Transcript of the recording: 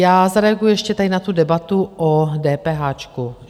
Já zareaguji ještě tady na tu debatu o DPH.